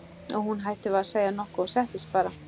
Og hún hætti við að segja nokkuð og settist bara.